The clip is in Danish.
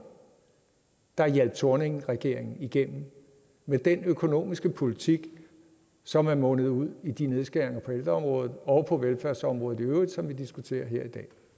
der hjalp thorningregeringen igennem med den økonomiske politik som er mundet ud i de nedskæringer på ældreområdet og på velfærdsområdet i øvrigt som vi diskuterer her i